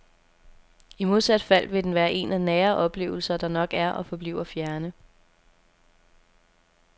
I modsat fald vil den være en af nære oplevelser, der nok er og forbliver fjerne.